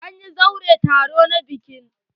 An chanza wurin taro na bikin.